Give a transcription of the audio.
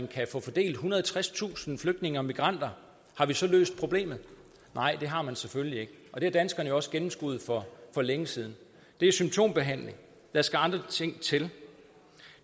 kan få fordelt ethundrede og tredstusind flygtninge og migranter har vi så løst problemet nej det har man selvfølgelig ikke og det har danskerne også gennemskuet for længe siden det er symptombehandling der skal andre ting til